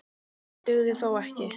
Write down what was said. Það dugði þó ekki.